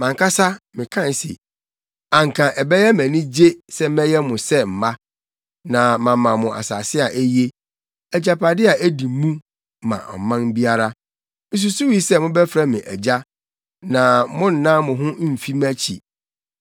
“Mʼankasa mekae se, ‘Anka ɛbɛyɛ me anigye sɛ mɛyɛ mo sɛ mma na mama mo asase a eye, agyapade a edi mu ma ɔman biara.’ Misusuwii sɛ mobɛfrɛ me ‘Agya’ na monnan mo ho mfi mʼakyi.